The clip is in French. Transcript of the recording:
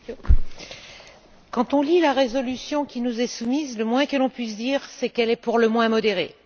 Monsieur le Président, quand on lit la résolution qui nous est soumise, le moins que l'on puisse dire, c'est qu'elle est pour le moins modérée.